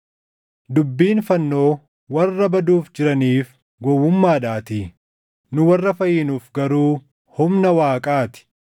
Dubbiin fannoo warra baduuf jiraniif gowwummaadhaatii; nu warra fayyinuuf garuu humna Waaqaa ti.